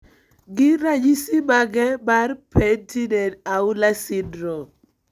Gin ranyisi mage mar Penttinen Aula syndrome?